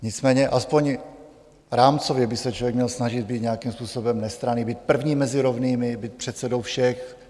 Nicméně alespoň rámcově by se člověk měl snažit být nějakým způsobem nestranný, být první mezi rovnými, být předsedou všech.